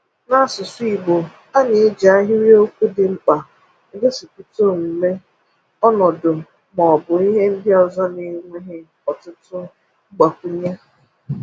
N’asụsụ Igbo, a na-eji ahịrịokwu dị mkpa egosipụta omume, ọnọdụ, ma ọ bụ ihe ndị ọzọ n’enweghi ọtụtụ mgbakwụnye.